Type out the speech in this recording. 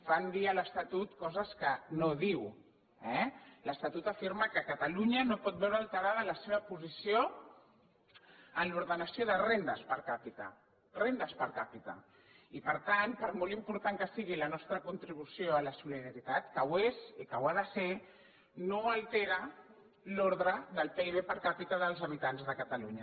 fan dir a l’estatut coses que no diu eh l’estatut afirma que catalunya no pot veure alterada la seva posició en l’ordenació de rendes per capita rendes ta i per tant per molt important que sigui la nostra contribució a la solidaritat que ho és i que ho ha de ser no altera l’ordre del pib per capita dels habitants de catalunya